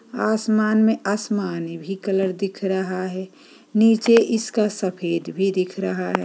आसमान में आसमानी भी कलर रहा है नीचे इसका सफ़ेद भी दिख रहा है।